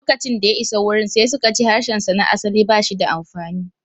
Lokacin da ya isa wurin, sai suka ce harshensa na asali ba shi da amfani.